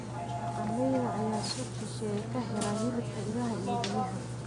Dhaqanleyda ayaa suuq shisheeye ka hela hilibka idaha iyo riyaha.